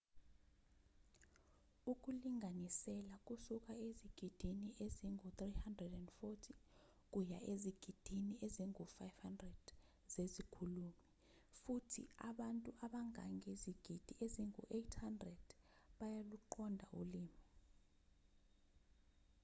ukulinganisela kusuka ezigidini ezingu-340 kuya ezigidini ezingu-500 zezikhulumi futhi abantu abangangezigidi ezingu-800 bayaluqonda ulimi